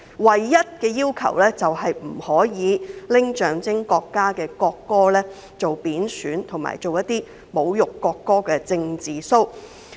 唯一的規限是不能對象徵國家的國歌作出貶損或具侮辱性的"政治騷"。